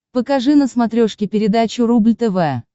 покажи на смотрешке передачу рубль тв